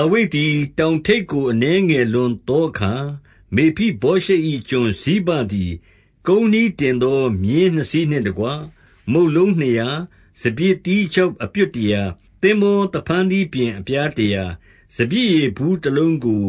ါဝိဒ်သည် တောင်ထိပ်ကို အနည်းငယ်လွန်သောအခါ၊ မေဖိဗောရှက်၏ ကျွန်ဇိဘသည် ကုန်းနှီး တင်သောမြည်းနှစ်စီးနှင့်တကွ၊ မုန့်လုံးနှစ်ရာ၊ စပျစ်သီး ခြောက်အပြွတ်တရာ၊ သင်္ဘောသဖန်းသီးပျဉ်အပြားတရာ စပျစ်ရည်ဘူတလုံးကို